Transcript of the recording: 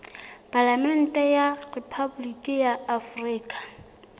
palamente ya rephaboliki ya afrika